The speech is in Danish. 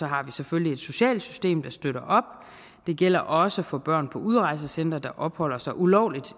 har vi selvfølgelig et socialsystem der støtter op og det gælder også for børn på udrejsecentre der opholder sig ulovligt